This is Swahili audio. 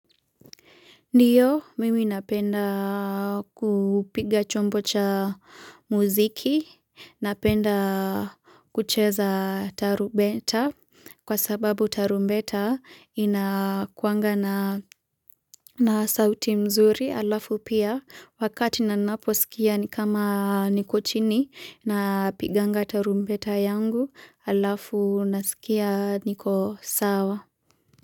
Ndiyo, mimi napenda kupiga chombo cha muziki, napenda kucheza tarumbeta kwa sababu tarumbeta hukuwa na na sauti nzuri alafu pia wakati ninaposikia ni kama niko chini huwa napiga tarumbeta yangu alafu najiskia niko sawa.